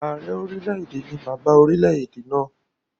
Ààrẹ orílẹ̀-èdè ni bàbá orilẹ̀-èdè náà